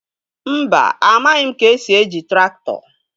Mba, amaghị m ka-esi eji traktọ